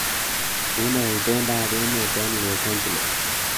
Unee itondoab emet eng Los Angeles